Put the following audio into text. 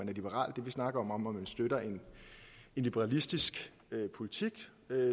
er liberal det vi snakker om er om man støtter en liberalistisk politik